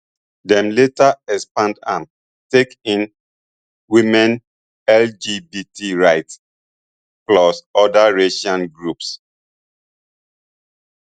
dem later expand am take in women lgbt rights plus oda racial groups